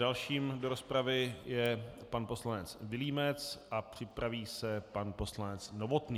Dalším do rozpravy je pan poslanec Vilímec a připraví se pan poslanec Novotný.